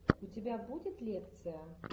у тебя будет лекция